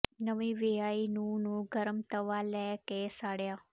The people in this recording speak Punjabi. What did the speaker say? ਨਵੀਂ ਵਿਆਹੀ ਨੂੰਹ ਨੂੰ ਗਰਮ ਤਵਾ ਲਾ ਕੇ ਸਾੜਿਆ